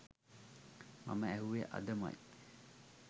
මම ඇහුවෙ අදමයි